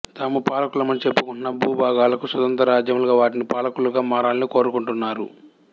తాము పాలకులమని చెప్పుకుంటున్న భూభాగాలకు స్వతంత్ర రాజ్యాలుగా వాటికి పాలకులుగా మారాలని కోరుకుంటున్నారు